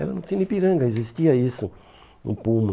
Era no Cine Ipiranga, existia isso, no Puma.